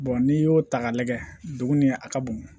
n'i y'o ta k'a lajɛ dugu ni a ka bon